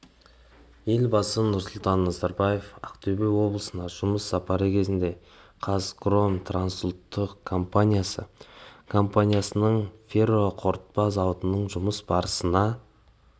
елбасы нұрсұлтан назарбаев ақтөбе облысына жұмыс сапары кезінде қазхром трансұлттық компаниясы компаниясының ферроқорытпа зауытының жұмыс барысымен